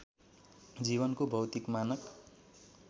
जीवनको भौतिक मानक